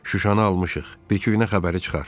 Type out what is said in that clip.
Şuşanı almışıq, bir-iki günə xəbəri çıxar.